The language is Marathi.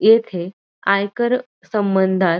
येथे आयकर संबंधात --